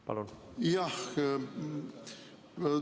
Palun!